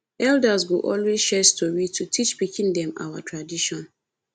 elders go always share story to teach pikin them our tradition